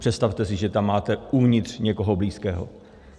Představte si, že tam máte uvnitř někoho blízkého.